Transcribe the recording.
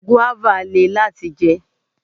Guava lè láti jẹ.